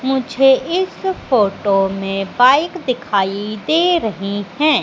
मुझे इस फोटो में बाइक दिखाई दे रही हैं।